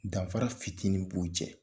Danfara fitinin b'u cɛ